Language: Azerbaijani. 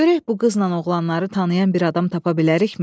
Görək bu qızla oğlanları tanıyan bir adam tapa bilərikmi?